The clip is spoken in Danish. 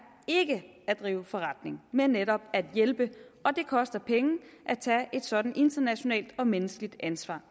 ikke at drive forretning men netop at hjælpe og det koster penge at tage et sådant internationalt og menneskeligt ansvar